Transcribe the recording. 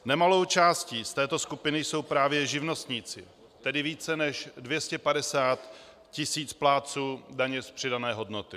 Nemalou částí z této skupiny jsou právě živnostníci, tedy více než 250 tisíc plátců daně z přidané hodnoty.